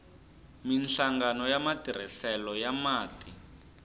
minhlangano ya matirhiselo ya mati